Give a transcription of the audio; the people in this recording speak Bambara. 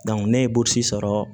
ne ye burusi sɔrɔ